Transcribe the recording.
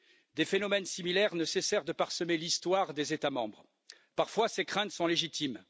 Des phénomènes similaires ne cessèrent de parsemer l'histoire des États membres. Parfois, ces craintes sont légitimes